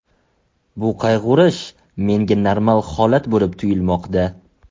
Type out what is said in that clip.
Bu qayg‘urish menga normal holat bo‘lib tuyulmoqda.